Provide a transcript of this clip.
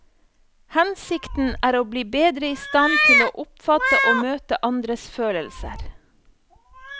Hensikten er å bli bedre i stand til å oppfatte og møte andres følelser.